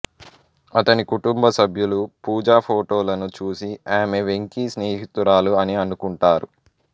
అతని కుటుంబ సభ్యులు పూజా ఫోటోలను చూసి ఆమె వెంకీ స్నేహితురాలు అని అనుకుంటారు